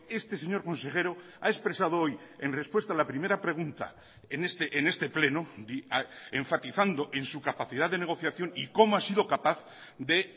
este señor consejero ha expresado hoy en respuesta a la primera pregunta en este pleno enfatizando en su capacidad de negociación y cómo ha sido capaz de